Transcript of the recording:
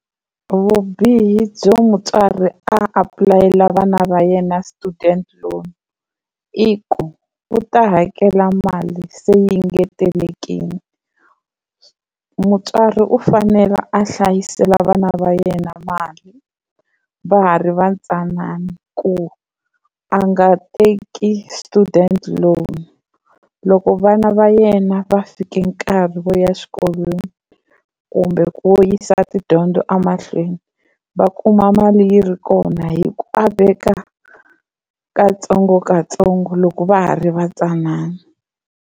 Vubihi byo mutswari a apulayela vana va yena student loan i ku u ta hakela mali se yi engetelekini. Mutswari u fanela a hlayisela vana va yena mali va ha ri vatsanana ku a nga teki student loan loko vana va yena va fike nkarhi wo ya exikolweni kumbe ku yisa tidyondzo emahlweni va kuma mali yi ri kona hi ku a veka katsongokatsongo loko va ha ri vatsanana.